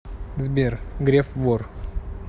сбер греф вор